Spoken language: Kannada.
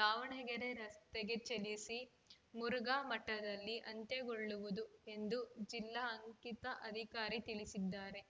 ದಾವಣಗೆರೆ ರಸ್ತೆಗೆ ಚಲಿಸಿ ಮುರುಘಾ ಮಠದಲ್ಲಿ ಅಂತ್ಯಗೊಳ್ಳುವುದು ಎಂದು ಜಿಲ್ಲಾ ಅಂಕಿತ ಅಧಿಕಾರಿ ತಿಳಿಸಿದ್ದಾರೆ